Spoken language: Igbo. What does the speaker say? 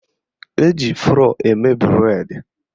Eji flọ́ọ̀ eme bụredi